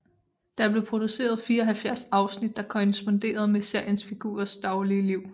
Der blev produceret 74 afsnit der korresponderede med seriens figurer daglige liv